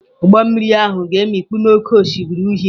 Ụgbọ mmiri ahụ ga-emikpu n'Oké Osimiri Uhie.